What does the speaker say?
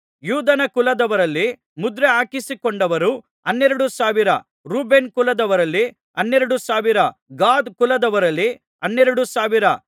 ಯೂದನ ಕುಲದವರಲ್ಲಿ ಮುದ್ರೆಹಾಕಿಸಿಕೊಂಡವರು ಹನ್ನೆರಡು ಸಾವಿರ ರೂಬೇನನ ಕುಲದವರಲ್ಲಿ ಹನ್ನೆರಡು ಸಾವಿರ ಗಾದ್ ಕುಲದವರಲ್ಲಿ ಹನ್ನೆರಡು ಸಾವಿರ